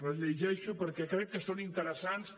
les llegeixo perquè crec que són interessants